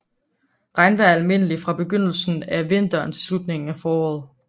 Regnvejr er almindeligt fra begyndelsen af vinteren til slutningen af foråret